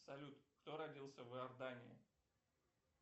салют кто родился в иордании